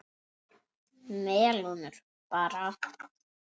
Melónur bara!